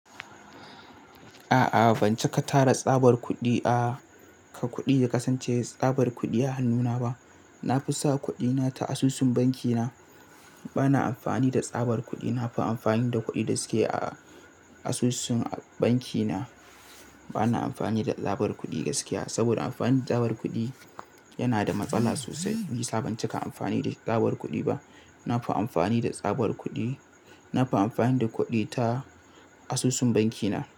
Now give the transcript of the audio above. A'a, ban cika tara tsabar kuɗi a ka kuɗi da kasance tsabar kuɗi a hannuna ba. Na fi sa kuɗina ta asusun bankina. Bana amfani da tsabar kuɗi. Na fi amfani da kuɗi da suke a asusun bankina. Bana amfani da tsabar kuɗi gaskiya, saboda amfani da tsabar kuɗi yana da matsala sosai. Ba yi sabon cika amfani da tsabar kuɗi ba. Na fi amfani da tsabar kuɗi. Na fi amfani da kuɗi ta asusun bankina.